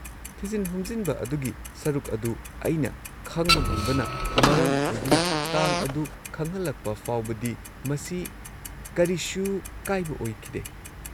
ꯊꯤꯖꯤꯟ ꯍꯨꯝꯖꯤꯟꯕ ꯑꯗꯨꯒꯤ ꯁꯔꯨꯛ ꯑꯗꯨ ꯑꯩꯅ ꯈꯪꯕ ꯉꯝꯕꯅ ꯃꯔꯝ ꯑꯣꯏꯗꯨꯅ, ꯇꯥꯡ ꯑꯗꯨ ꯈꯪꯍꯜꯂꯛꯄ ꯐꯥꯎꯕꯗꯤ ꯃꯁꯤ ꯀꯔꯤꯁꯨ ꯀꯥꯏꯕ ꯑꯣꯏꯈꯤꯗꯦ꯫